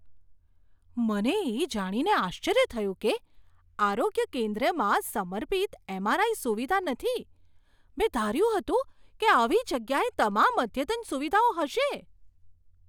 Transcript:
મને એ જાણીને આશ્ચર્ય થયું કે આરોગ્ય કેન્દ્રમાં સમર્પિત એમ.આર.આઈ. સુવિધા નથી. મેં ધાર્યું હતું કે આવી જગ્યાએ તમામ અદ્યતન સુવિધાઓ હશે.